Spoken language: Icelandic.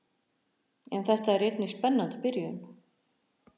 En þetta er einnig spennandi byrjun.